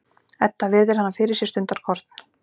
Edda virðir hana fyrir sér stundarkorn.